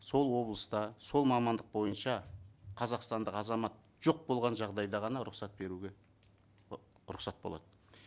сол облыста сол мамандық бойынша қазақстандық азамат жоқ болған жағдайда ғана рұқсат беруге ы рұқсат болады